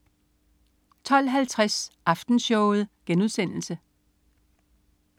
12.50 Aftenshowet*